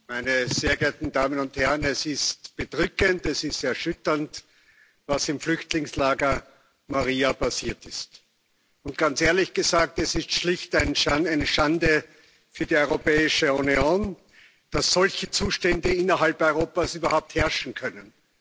Frau Präsidentin, meine sehr geehrten Damen und Herren! Es ist bedrückend, es ist erschütternd, was im Flüchtlingslager Moria passiert ist. Und ganz ehrlich gesagt, es ist schlicht eine Schande für die Europäische Union, dass solche Zustände innerhalb Europas überhaupt herrschen können.